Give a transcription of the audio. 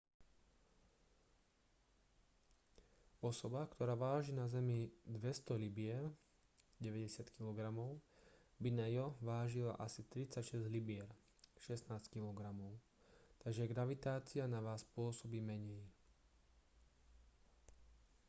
osoba ktorá váži na zemi 200 libier 90 kg by na io vážila asi 36 libier 16 kg. takže gravitácia na vás pôsobí menej